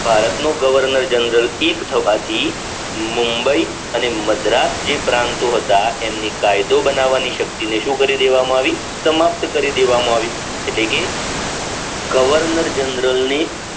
ભારતનો governor general એક થવાથી મુંબઈ અને મદ્રાસ જે પ્રાંતો હતા એમની કાયદો બનાવની શક્તિને શું કરી દેવામાં આવી સમાપ્ત કરી દેવામાં આવી એટલે કે governor general ની